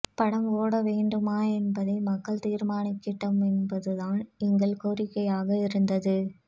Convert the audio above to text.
படம் ஓடவேண்டுமா என்பதை மக்கள் தீர்மானிக்கட்டும் என்பதுதான் எங்கள் கோரிக்கையாக இருந்தது